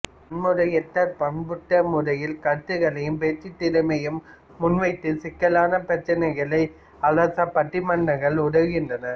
வன்முறையற்ற பண்புபட்ட முறையில் கருத்துக்களையும் பேச்சுத் திறனையும் முன்வைத்து சிக்கலான பிரச்சினைகளை அலச பட்டிமன்றங்கள் உதவுகின்றன